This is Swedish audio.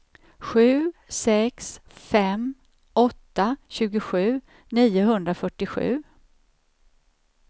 sju sex fem åtta tjugosju niohundrafyrtiosju